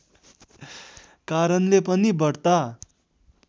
कारणले पनि बढ्ता